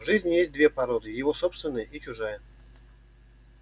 в жизни есть две породы его собственная и чужая